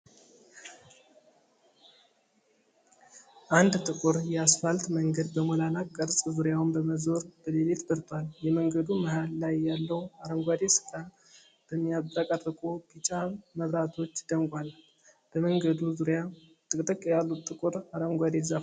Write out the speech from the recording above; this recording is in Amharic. አንድ ጥቁር የአስፋልት መንገድ በሞላላ ቅርጽ ዙሪያውን በመዞር በሌሊት በርቷል። የመንገዱ መሀል ላይ ያለው አረንጓዴ ስፍራ በሚያብረቀርቁ ቢጫ መብራቶች ደምቋል። በመንገዱ ዙሪያ ጥቅጥቅ ያሉ ጥቁር አረንጓዴ ዛፎች እና ቁጥቋጦዎች አሉ።